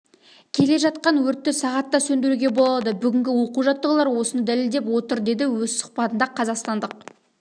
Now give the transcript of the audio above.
келе жатқан өртті сағатта сөндіруге болады бүгінгі оқу-жаттығулар осыны дәлелдеп отыр деді өз сұхбатында қазақстандық